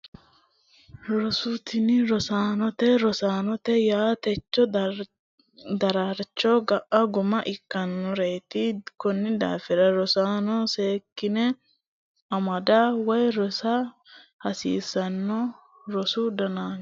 Roso tini rosaanotee rosaanote yaa techo daraarcho ga'a gumma ikkitinoreeeti konni daafira rosaano seekkine amada woyi rosiisa hasiissanno rosu danchaho